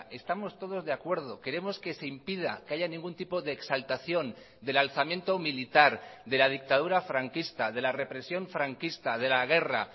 estamos todos de acuerdo queremos que se impida que haya ningún tipo de exaltación del alzamiento militar de la dictadura franquista de la represión franquista de la guerra